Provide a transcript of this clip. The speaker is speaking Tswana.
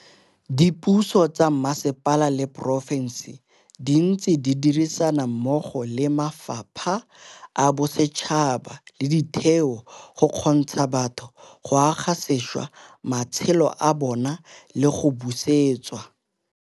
Dipuso tsa mmasepala le porofense di ntse di dirisana mmogo le mafapha a bosetšhaba le ditheo go kgontsha batho go aga sešwa matshelo a bona le go busetsa.